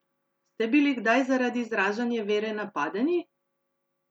Ste bili kdaj zaradi izražanja vere napadeni?